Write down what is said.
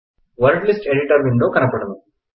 word lists editor window కనపడును